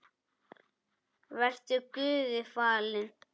Vertu Guði falin.